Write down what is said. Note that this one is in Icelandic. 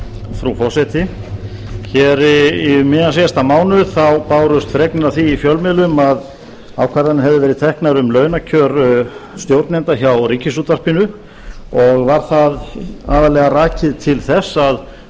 frú forseti hér um miðjan síðasta mánuð þá bárust fregnir af því í fjölmiðlum að ákvarðanir hafi verið teknar um launakjör stjórnenda hjá ríkisútvarpinu og var það aðallega rakið til þess að